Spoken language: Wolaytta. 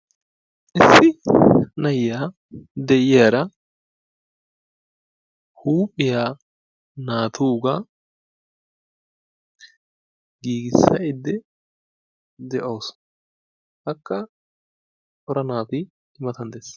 issi na'iya de'iyaara huuphiya naatuuga giigisayde de'awusu. Akka cora naati I matan dees.